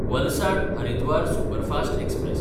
Valsad-Haridwar superfast express